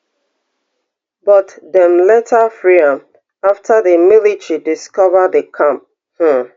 but dem later free am afta di military discover di camp um